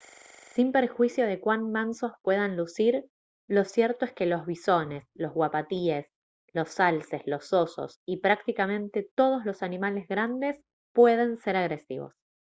sin perjuicio de cuán mansos puedan lucir lo cierto es que los bisones los uapatíes los alces los osos y prácticamente todos los animales grandes pueden se agresivos